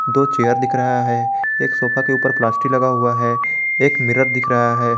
दो चेयर दिख रहा है एक सोफा के ऊपर प्लास्टिक लगा हुआ है एक मिरर दिख रहा है।